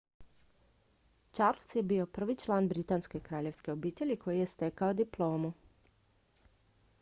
charles je bio prvi član britanske kraljevske obitelji koji je stekao diplomu